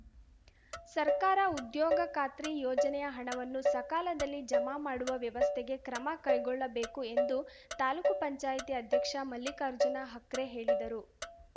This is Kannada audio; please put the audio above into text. ಸರ್ಕಾರ ಉದ್ಯೋಗ ಖಾತ್ರಿ ಯೋಜನೆಯ ಹಣವನ್ನು ಸಕಾಲದಲ್ಲಿ ಜಮಾ ಮಾಡುವ ವ್ಯವಸ್ಥೆಗೆ ಕ್ರಮ ಕೈಗೊಳ್ಳಬೇಕು ಎಂದು ತಾಲೂಕು ಪಂಚಾಯತ್ ಅಧ್ಯಕ್ಷ ಮಲ್ಲಿಕಾರ್ಜುನ ಹಕ್ರೆ ಹೇಳಿದರು